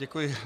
Děkuji.